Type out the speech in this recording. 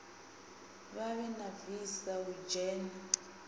vhavhe na visa u dzhena